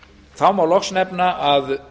þá má loks nefna að